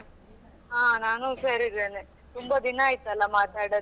ಹಾ ನಾನು ಹುಷಾರಿದ್ದೇನೆ ತುಂಬಾ ದಿನ ಆಯ್ತಲ್ಲ ಮಾತಾಡದೆ.